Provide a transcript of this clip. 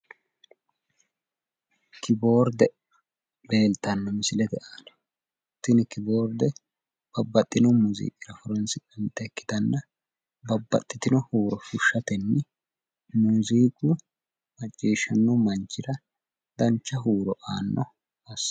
Kiboorde leeltanno misilete aana. Tini kiboorde babbaxxino muuziiqira horoonsi'nannita ikkitanna babbaxxitino huuro fushshatenni muuziiqu macciishshanno manchira dancha huuro aanno assitanno.